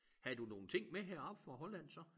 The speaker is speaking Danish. Havde du nogle ting med herop fra Holland så?